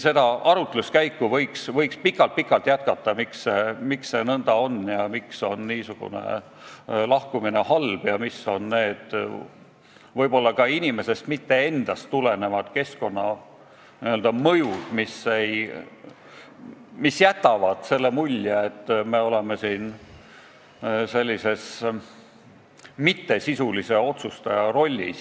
Seda arutluskäiku aga võiks pikalt-pikalt jätkata: miks see nõnda on, miks on niisugune lahkumine halb ja mis on need võib-olla ka inimesest endast mittetulenevad töökeskkonna mõjud, mis tekitavad tunde, et me oleme siin mingis mitte sisulise otsustaja rollis.